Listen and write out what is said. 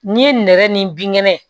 N'i ye nɛgɛ ni binkɛnɛ